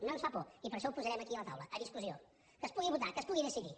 no ens fa por i per això ho posarem aquí a la taula a discussió que es pugui votar que es pugui decidir